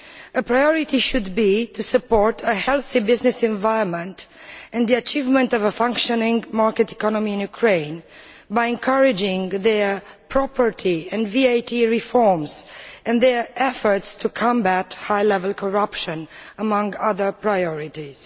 A priority should be to support a healthy business environment and the achievement of a functioning market economy in Ukraine by encouraging their property and VAT reforms and their efforts to combat high level corruption, among other priorities.